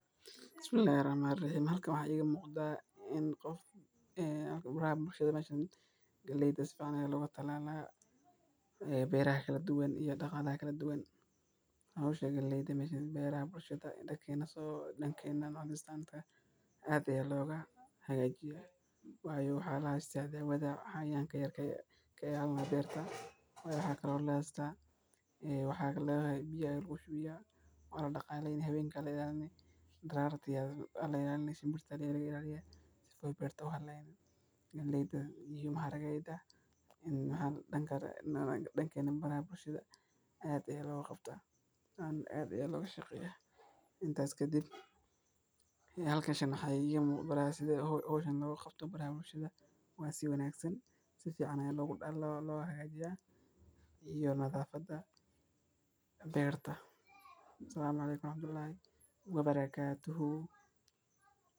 Bulshadu waxay door weyn ku leeyihiin go’aanka la xiriira gudniinka wiilasha. Bulshooyin badan, gaar ahaan qaar ka mid ah bulshooyinka gudniinka wiilasha waxaa loo arkaa dhaqan muhiim ah oo lagu muujiyo ragganimo, nadaafad iyo biseyl. Waxaa sidoo kale loo arkaa calaamad muujinaysa in wiilka uu ka baxay carruurnimada oo uu u gudbay qaan-gaarnimo. Xafladaha gudniinka, oo mararka qaar noqda dhacdooyin bulsheed oo wayn, waxay sidoo kale gacan ka geystaan dhismaha aqoonsiga shakhsiga iyo la-qabsiga bulshada dhexdeeda. Bulshooyinka qaarkood, gudniinku waxa uu leeyahay culays.